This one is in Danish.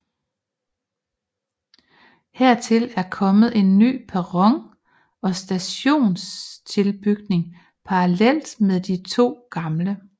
Hertil er kommet en ny perron og stationstilbygning parallelt med de to gamle